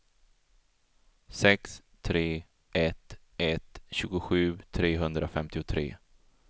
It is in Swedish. sex tre ett ett tjugosju trehundrafemtiotre